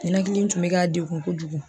Ninakili in tun bɛ ka degun kojugu.